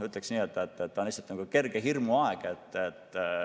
Ütleks niimoodi, et on lihtsalt kerge hirmu aeg.